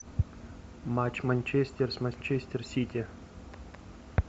матч манчестер с манчестер сити